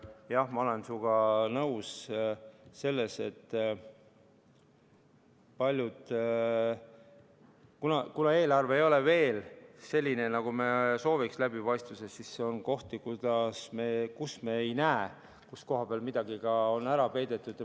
Jah, ma olen sinuga nõus, et kuna eelarve ei ole läbipaistvuselt veel selline, nagu me sooviks, siis me alati ei näe, kus koha peal midagi on ära peidetud.